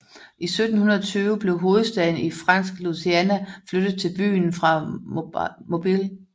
I 1720 blev hovedstaden i Fransk Louisiana flyttet til byen fra Mobile